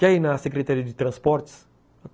Quer ir na Secretaria de Transportes?